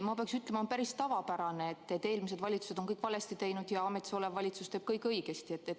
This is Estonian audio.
Ma pean ütlema, et on päris tavapärane, et eelmised valitsused on kõik valesti teinud ja ametis olev valitsus teeb kõik õigesti.